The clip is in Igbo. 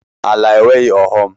Ala enweghị ọghọm.